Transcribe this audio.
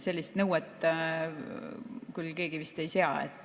Sellist nõuet küll keegi vist ei sea.